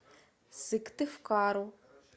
сыктывкару